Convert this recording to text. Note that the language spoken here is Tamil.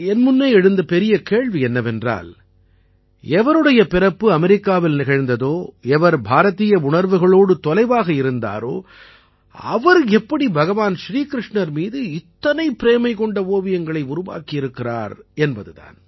என் முன்னே எழுந்த பெரிய கேள்வி என்னவென்றால் எவருடைய பிறப்பு அமெரிக்காவில் நிகழ்ந்ததோ எவர் பாரதீய உணர்வுகளோடு தொலைவாக இருந்தாரோ அவர் எப்படி பகவான் ஸ்ரீகிருஷ்ணர் மீது இத்தனை பிரேமை கொண்ட ஓவியங்களை உருவாக்கி இருக்கிறார் என்பது தான்